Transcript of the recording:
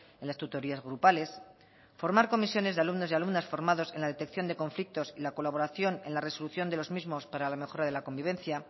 en las tutorías grupales formar comisiones de alumnos y alumnas formados en la detección de conflictos y la colaboración en la resolución de los mismos para la mejora de la convivencia